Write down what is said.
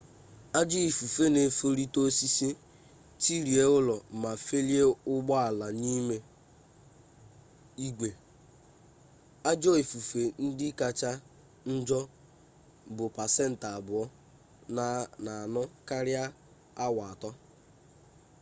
ajọ ifufe na efolite osisi tirie ulo ma felie ụgbọala n'ime igwe ajọ ifufe ndị kacha njọ bụ pasentị abụọ na-anọ karịa awa atọ